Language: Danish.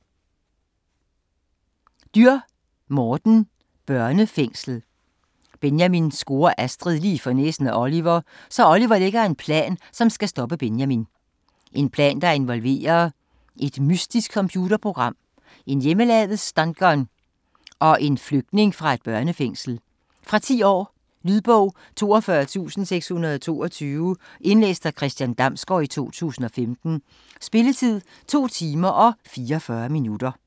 Dürr, Morten: Børnefængslet Benjamin scorer Astrid lige for næsen af Oliver, så Oliver lægger en plan, som skal stoppe Benjamin. En plan der involverer et mystisk computerprogram, en hjemmelavet stungun og en flygtning fra et børnefængsel. Fra 10 år. Lydbog 42622 Indlæst af Christian Damsgaard, 2015. Spilletid: 2 timer, 44 minutter.